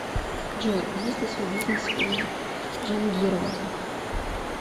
джой есть ли свой бизнес у джангирова